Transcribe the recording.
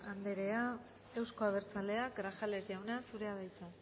andrea euzko abertzaleak grajales jauna zurea da hitza